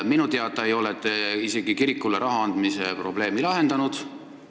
Minu teada ei ole te isegi kirikule raha andmise probleemi lahendanud.